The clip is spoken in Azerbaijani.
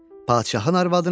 Padşahın arvadınamı?